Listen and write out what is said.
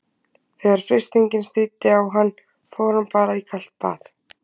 Þegar freistingin stríddi á hann fór hann bara í kalt bað.